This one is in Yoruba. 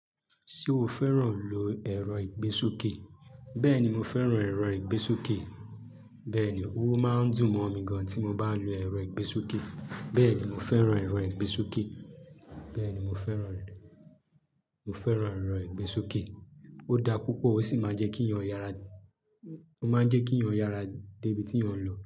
Ṣé o fẹ́ràn lo ẹ̀rọ ìgbésókè? Bẹ́ẹ̀ni, mo fẹ́ràn ẹ̀rọ ìgbésókè. Bẹ́ẹ̀ ni, oo máa ń dùn mọ́ mi gan tí mo bá lo ẹ̀rọ ìgbésókè. Bẹ́ẹ̀ ni, mo fẹ́ràn ẹ̀rọ ìgbésókè. Bẹ́ẹ̀ ni, mo fẹ́ràn rẹ, mo fẹ́ràn ẹ̀rọ ìgbésókè. Ó da púpọ̀ ó sì máa ń jẹ́ kí yàn yára, ó máa ń jẹ́ kí yàn yára dé ibi tí yàn ń lọ.